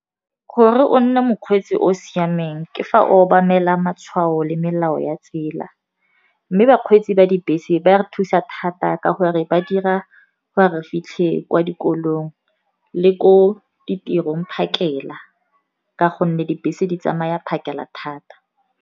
Gore o nne mokgweetsi o siameng ke fa o obamela matshwao le melao ya tsela, mme bakgweetsi ba dibese ba re thusa thata ka gore ba dira gore re fitlhe kwa dikolong le ko ditirong phakela, ka gonne dibese di tsamaya phakela thata.